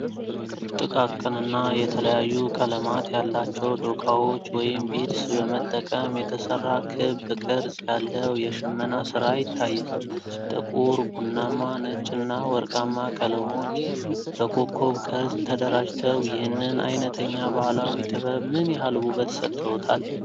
ጥቃቅንና የተለያዩ ቀለማት ያላቸው ዶቃዎች (ቢድስ) በመጠቀም የተሠራ ክብ ቅርጽ ያለው የሽመና ሥራ ይታያል፤ ጥቁር፣ ቡናማ፣ ነጭና ወርቃማ ቀለሞች በኮከብ ቅርጽ ተደራጅተው ይህንን ዓይነተኛ ባህላዊ ጥበብ ምን ያህል ውበት ሰጥተውታል?